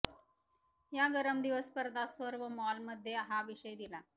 या गरम दिवस स्पर्धा सर्व मॉल मध्ये हा विषय दिला